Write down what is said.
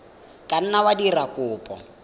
ka nna wa dira kopo